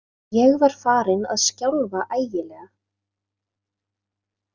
Ég var farinn að skjálfa ægilega.